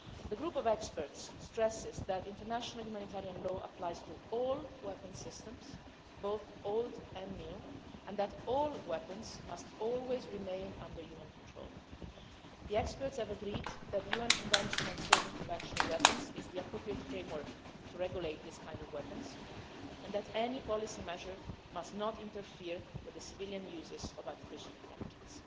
The group of experts stresses that international humanitarian law applies to all weapon systems, both old and new, and that all weapons must always remain under human control. The experts have agreed that the UN Convention on Certain Conventional Weapons is the appropriate framework to regulate weapons of this kind and that any policy measure must not interfere with the civilian uses of artificial intelligence.